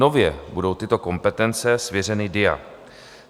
Nově budou tyto kompetence svěřeny DIA.